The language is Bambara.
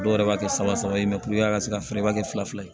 Dɔw yɛrɛ b'a kɛ saba saba ye a ka se ka feere ba kɛ fila fila ye